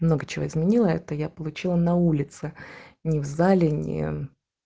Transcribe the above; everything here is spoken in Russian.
много чего изменила это я получила на улице не в долине